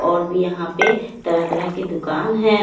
और भी यहां पे तरह तरह की दुकान है।